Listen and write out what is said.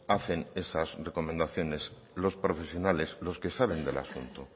hacen esas recomendaciones los profesionales los que saben del asunto